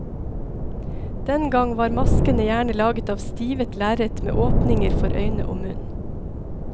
Den gang var maskene gjerne laget av stivet lerret med åpninger for øyne og munn.